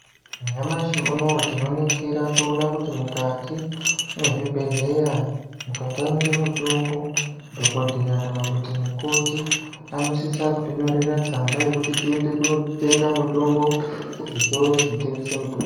Nyamashi unowu tinoningira toona kuti mukati mwezvibhedheya ,mukatamike mitombo, dhokodheya kana kuti mukoti ,anosisa kutinyorera tsamba yekuti tiende kunotenga mutombo, kuzvitoro zvinotengese mitombo.